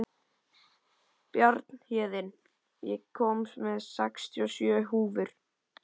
Bjarnhéðinn, ég kom með sextíu og sjö húfur!